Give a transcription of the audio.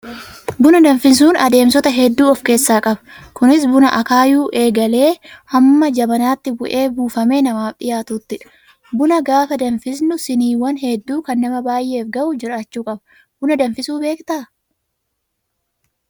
Buna danfisuun adeemsota hedduu of keessaa qaba. Kunis buna akaayuu eegalee hamma jabanaatti bu'ee buufamee namaaf dhiyaatuttidha. Buna gaafa danfisnu siiniiwwan hedduu kan nama baay'eef ga'u jiraachuu qaba. Buna danfisuu beektaa?